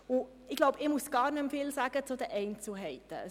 Ich glaube, ich muss nicht mehr viel zu den Einzelheiten sagen.